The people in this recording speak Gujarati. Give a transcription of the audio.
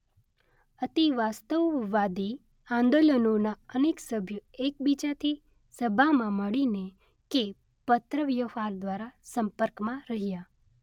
અતિવાસ્તવવાદી આંદોલનોના અનેક સભ્યો એકબીજાથી સભામાં મળીને કે પત્રવ્યવહાર દ્રારા સંપર્કમાં રહ્યા.